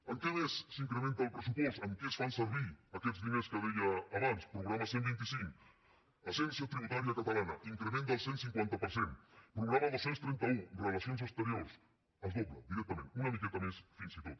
en què més s’incrementa el pressupost en què es fan servir aquests diners que deia abans programa cent i vint cinc agència tributària catalana increment del cent i cinquanta per cent programa dos cents i trenta un relacions exteriors es dobla directament una miqueta més fins i tot